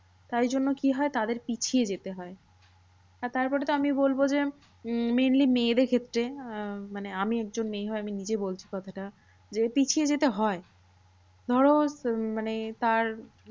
তাই জন্য কি হয়? তাদের পিছিয়ে যেতে হয়। তারপরে তো আমি বলবো যে, উম mainly মেয়েদের ক্ষেত্রে আহ মানে আমি একজন মেয়ে হয়ে আমি নিজে বলছি কথাটা, যে পিছিয়ে যেতে হয়। ধরো উম মানে তার